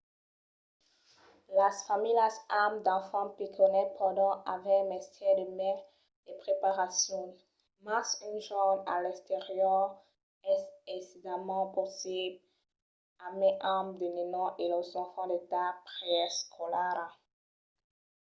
las familhas amb d’enfants pichonets pòdon aver mestièr de mai de preparacion mas un jorn a l'exterior es aisidament possible e mai amb de nenons e los enfants d'edat preescolara